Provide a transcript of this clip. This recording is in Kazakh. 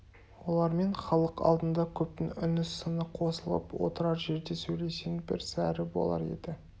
олармен халық алдында көптің үні сыны қосылып отырар жерде сөйлесең бір сәрі болар еді